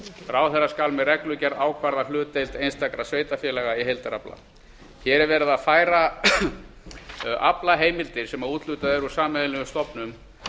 ráðherra skal með reglugerð ákvarða hlutdeild einstakra sveitarfélaga í heildarafla hér er verið að færa aflaheimildir sem úthlutað er úr sameiginlegum stofnum